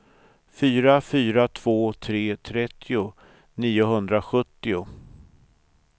fyra fyra två tre trettio niohundrasjuttio